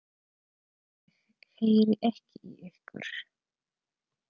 Ég heyri ekki í ykkur.